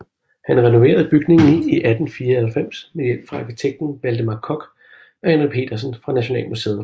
Han renoverede bygningen i 1894 med hjælp fra arkitekten Valdemar Koch og Henry Petersen fra Nationalmuseet